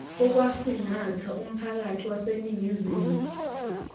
okwasingatha umphakathi waseningizimu